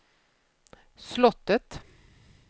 slottet